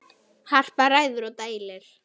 Harpa ræður og dælir.